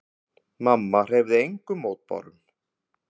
Mamma hreyfði engum mótbárum.